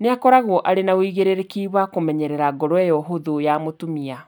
nĩ akoragwo arĩ na ũigĩrĩrĩki wa kũmenyerera ngoro ĩyo hũthũ ya mũtumia.